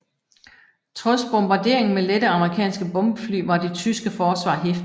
Trods bombardering med lette amerikanske bombefly var det tyske forsvar heftigt